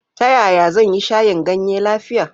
Ta yaya zan yi shayin ganye lafiya?